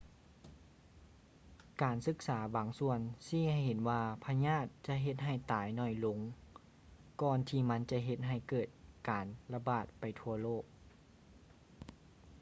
ການສຶກສາບາງສ່ວນຊີ້ໃຫ້ເຫັນວ່າພະຍາດຈະເຮັດໃຫ້ຕາຍໜ້ອຍລົງ ກ່ອນທີ່ມັນຈະເຮັດໃຫ້ເກີດການລະບາດໄປທົ່ວໂລກ